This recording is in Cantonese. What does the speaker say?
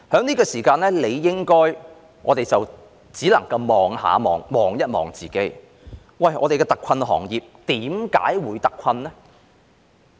此時此刻，我們只能回顧反思，我們的特困行業為何會特困？